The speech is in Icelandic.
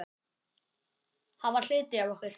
Hann var hluti af okkur.